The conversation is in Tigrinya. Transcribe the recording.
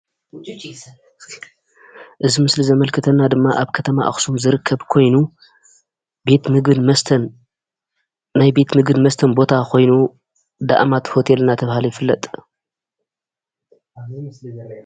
እዚ ምስሊ ዘማላኽተና ድማ ኣብ ከተማ ኣኽሱም ዝርከብ ኾይኑ ቤት ምግብን መስተን ናይ ቤት ምግብን መስተን ቦታ ኮይኑ ዳኣማት ሆቴል እንዳተባሃለ ይፍለጥ።